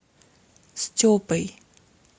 степой